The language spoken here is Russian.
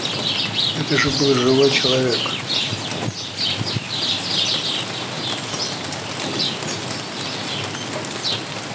это же был живой человек